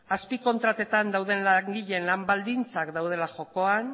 azpikontratetan dauden langileen lan baldintzak daudela jokoan